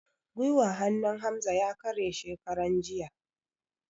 Gwiwar hannun Hamza ya kare shekaran jiya